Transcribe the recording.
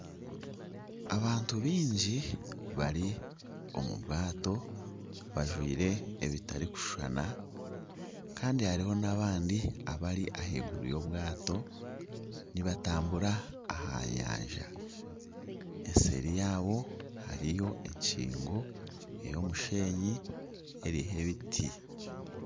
Abantu bingi bari omu maato bajwire ebitarikushushana kandi hariho n'abandi abari ahaiguru y'obwato nibatambura aha nyanja. Eseeri yaabo hariyo enkingo y'omushenyi eriho ebiri.